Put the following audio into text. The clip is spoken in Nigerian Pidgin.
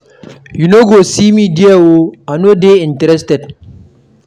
You no go see me there oo. I no dey interested.